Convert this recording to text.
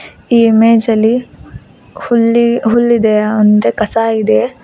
ಈ ಇಮೇಜ್ ಅಲ್ಲಿ ಹುಲ್ಲಿ ಹುಲ್ಲಿದೆ ಮುಂದೆ ಕಸ ಇದೆ.